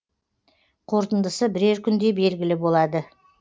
қорытындысы бірер күнде белгілі болады